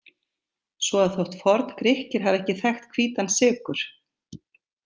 Svo að þótt Forngrikkir hafi ekki þekkt hvítan sykur.